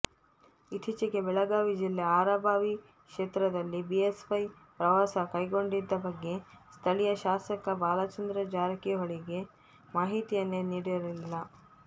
ಇತ್ತೀಚೆಗೆ ಬೆಳಗಾವಿ ಜಿಲ್ಲೆ ಅರಭಾವಿ ಕ್ಷೇತ್ರದಲ್ಲಿ ಬಿಎಸ್ವೈ ಪ್ರವಾಸ ಕೈಗೊಂಡಿದ್ದ ಬಗ್ಗೆ ಸ್ಥಳೀಯ ಶಾಸಕ ಬಾಲಚಂದ್ರ ಜಾರಕಿಹೊಳಿಗೆ ಮಾಹಿತಿಯನ್ನೆ ನೀಡಿರಲಿಲ್ಲ